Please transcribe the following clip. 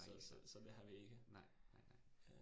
Nej nej, nej nej nej